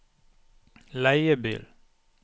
leiebil